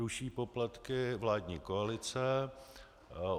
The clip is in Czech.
Ruší poplatky vládní koalice.